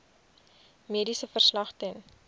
mediese verslag ten